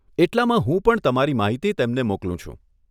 એટલામાં હું પણ તમારી માહિતી તેમને મોકલું છું.